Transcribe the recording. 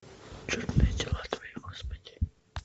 чудные дела твои господи